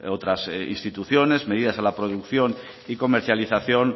otras instituciones medidas a la producción y comercialización